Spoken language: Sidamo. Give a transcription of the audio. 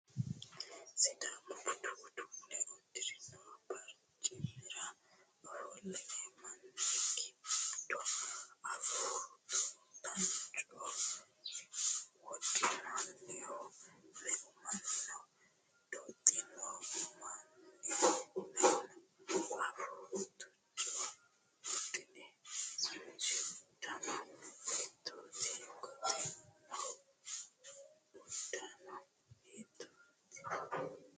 Sidaamu budu uddano uddirinno barcimira ofollino manni giddo afuu tuancho wodhinohu meu manni no? Doxino manni meu no? Afuu tuancho wodhino manchi uddano hiittoote? Goxinohu uddano hiittoote?